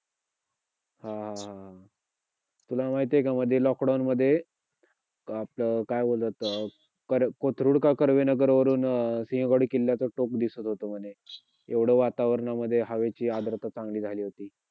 तू महाराष्ट्र मुंबईमध्ये वडापाव सर्वात वडापाव हा आ सर्वात famous dish आ dish आहे. आ मुंबईमध्ये मराठी भाषा सगळ्यात जास्त बोली जातेे परंतु,